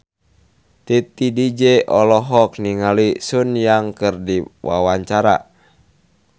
Titi DJ olohok ningali Sun Yang keur diwawancara